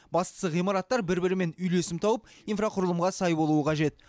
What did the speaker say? бастысы ғимараттар бір бірімен үйлесім тауып инфрақұрылымға сай болуы қажет